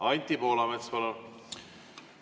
Anti Poolamets, palun!